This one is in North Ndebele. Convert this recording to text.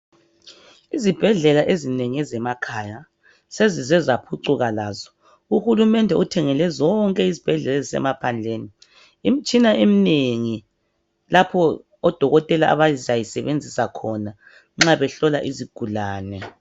Izibhedlela ezinengi ezemakhaya sezize zaphucuka lazo. Uhulumele uthengele zonke izibhedlela ezisemaphandleni imtshina emnengi lapho odokotela abazayisebenzisa khona nxa behlola izigulane.